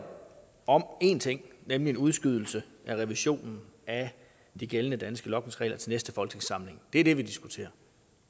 om én ting nemlig en udskydelse af revisionen af de gældende danske logningsregler til næste folketingssamling det er det vi diskuterer